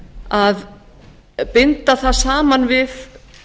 að binda það saman við